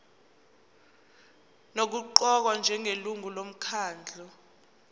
nokuqokwa njengelungu lomkhandlu